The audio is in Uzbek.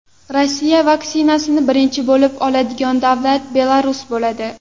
Rossiya vaksinasini birinchi bo‘lib oladigan davlat Belarus bo‘ladi.